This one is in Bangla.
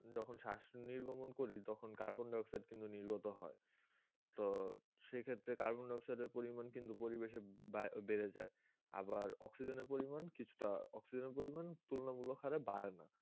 যখন শ্বাস নির্গমন করি তখন carbon dioxide কিন্তু নির্গত হয়, তো সেক্ষেত্রে carbon dioxide এর পরিমাণ কিন্তু পরিবেশে বেড়ে যায়, আবার oxygen এর পরিমাণ কিছুটা oxygen এর পরিমাণ তুলনামূলক হারে বারেনা.